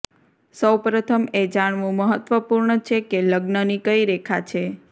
સૌપ્રથમ એ જાણવું મહત્વપૂર્ણ છે કે લગ્નની કઈ રેખા છે